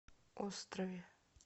острове